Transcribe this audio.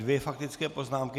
Dvě faktické poznámky.